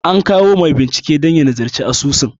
An kawo mai binciken dan ya nazarci asusun.